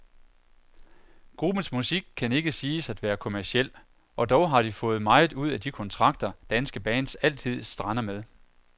Gruppens musik kan ikke siges at være kommerciel, og dog har de fået meget ud af de kontrakter, danske bands altid strander med.